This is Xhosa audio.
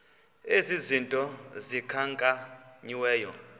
ezi zinto zikhankanyiweyo